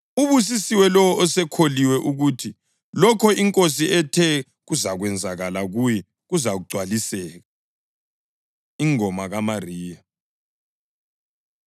Ubusisiwe lowo osekholiwe ukuthi lokho iNkosi ethe kuzakwenzeka kuye kuzagcwaliseka!” Ingoma KaMariya